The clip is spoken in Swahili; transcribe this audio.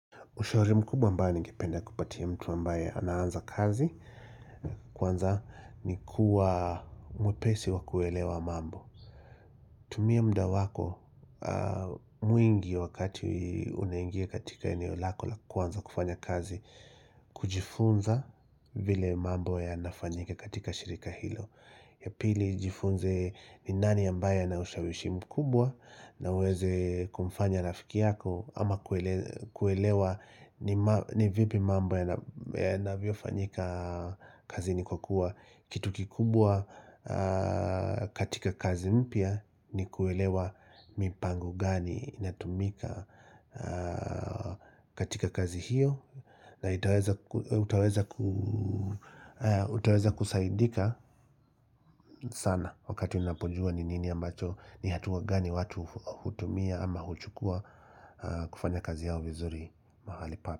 Ushauri mkubwa ambayo ningependa kupatia mtu ambaye anaanza kazi, kwanza ni kuwa mwepesi wa kuelewa mambo. Tumia muda wako mwingi wakati unaingia katika eneo lako la kwanza kufanya kazi, kujifunza vile mambo yanafanyika katika shirika hilo. Ya pili jifunze ni nani ambaye ana ushawishi mkubwa na uweze kumfanya rafiki yako ama kuelewa ni vipi mambo yanavyofanyika kazini kwa kuwa Kitu kikubwa katika kazi mpya ni kuelewa mipango gani inatumika katika kazi hiyo na utaweza kusaidika sana wakati unapojua ni nini ambacho ni hatua gani watu hutumia ama huchukua kufanya kazi yao vizuri mahali hapa.